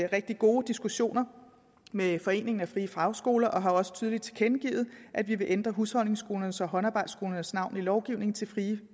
rigtig gode diskussioner med friefagskoler og har også tydeligt tilkendegivet at vi vil ændre husholdningsskolernes og håndarbejdsskolernes navn i lovgivningen til frie